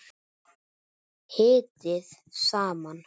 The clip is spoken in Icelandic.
Hitið saman.